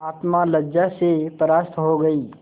आत्मा लज्जा से परास्त हो गयी